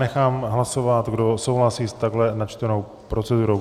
Nechám hlasovat, kdo souhlasí s takto načtenou procedurou.